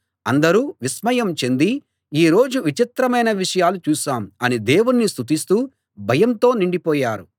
అందరూ విస్మయం చెంది ఈ రోజు విచిత్రమైన విషయాలు చూశాం అని దేవుణ్ణి స్తుతిస్తూ భయంతో నిండిపోయారు